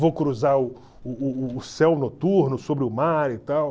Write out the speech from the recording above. Vou cruzar o o o o céu noturno sobre o mar e tal.